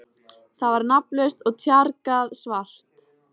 Það var nafnlaust og tjargað svart.